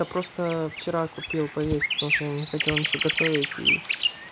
я просто вчера купил поесть потому что не хотел ничего готовить и